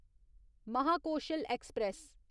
Mahakoshal express